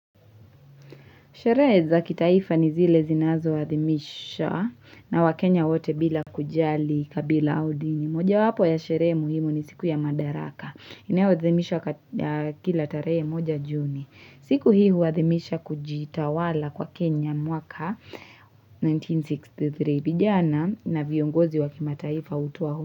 Sherehe za kitaifa ni zile zinazo adhimisha na wakenya wote bila kujali kabila au udini. Mojawapo ya sherehe muhimu ni siku ya madaraka. Inayo adhimishwa kila tarehe moja juni. Siku hii huadhimisha kujitawala kwa Kenya mwaka 1963 vijana na viongozi wakimataifa hutowa hutuba.